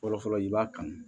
Fɔlɔfɔlɔ i b'a kanu